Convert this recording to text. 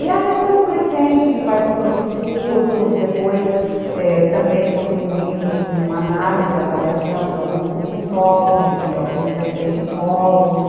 E aí foi num crescente, participando dos cursos, depois também contribuindo com análise e avaliação de alguns cursos novos, de alguns docentes novos,